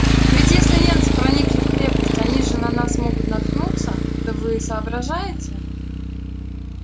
ведь если немцы проникли в крепость они же на нас могут наткнуться это вы соображаете